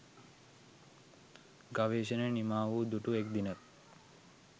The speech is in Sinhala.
ගවේෂණය නිමාව දුටු එක් දිනක්